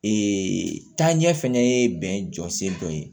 taaɲɛ fɛnɛ ye bɛn jɔ sen dɔ ye